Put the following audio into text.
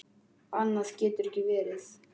Annað getur ekki verið.